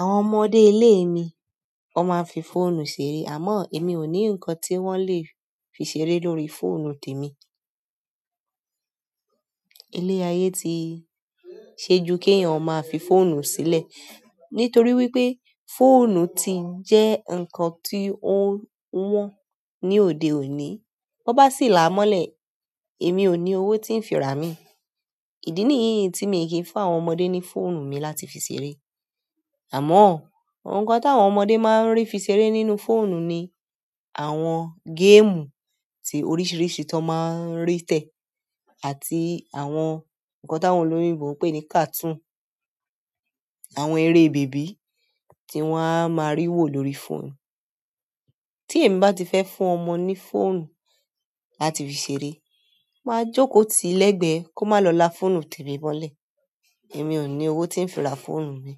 Àwọn ọmọdé iilé mi, wọ́n máa ń fi fóònù ṣeré àmọ́ èmi ò ní nǹkan tí wọ́n lè fi ṣeré lórí fóònù tèmi. Ilé ayé ti ṣe ju k'éyàn áa fi fóònù sílẹ̀ nítorí wípé fóònù ti jẹ́ nǹkan tí ó wọ́n ní òde òní. Ọ́ bá sì là á mọ́ lẹ̀, èmi ò ní owó tí ń fi rà míì. Ìdí nìyí tí mi ì kìí fún àwọn ọmọdé ní fóònù mi láti fi ṣeré. Àmọ́, nǹkan t'àwọn ọmọdé máa ń rí fi ṣeré nínú fóònù ni àwọn géèmù tí oríṣìíríṣìí tó máa ń rí tẹ̀ àti àwọn nǹkan tí àwọn olóyìnbó máa ń pè ní kàtún. Àwọn eré bèbí tí wọ́n á máa rí wò lórí fóònù. Tí èmi bá ti fẹ́ fún ọmọ ní fóònù láti fi ṣeré, màá jókòó tí l'ẹ́gbẹ̀ẹ́ kò máa lọ lá fóònù t'èmi mọ́lẹ̀. Èmi ò ní owó tí ń fi ra fóònù mi.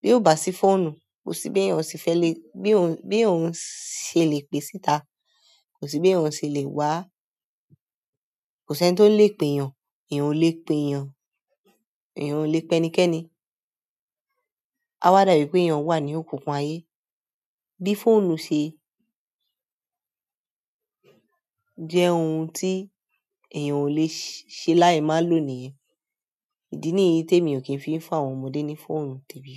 Bí ò bá sí fóónù, kò sí b'èèyan se fẹ́ le bí on bí on ṣe lè pè síta. Kò sí bí òun ṣe lè wá. Kò s'ẹ́ni tó lè pèèyàn. Ẹ̀yàn ò lè pèèyàn. Ẹ̀yàn ò lè pẹ́níkẹ́ni. Áá wá dà bí pé èèyàn wà ní òkùnkùn ayé. Bí fóònù ṣe jẹ́ ohun tí èyàn ò lè ṣe láì má lò nìyẹn. Ìdí nìyí t'émi ò kí ń fi fún àwọn ọmọdé ní fóònù tèmi.